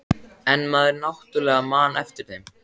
En maður náttúrlega man eftir þeim.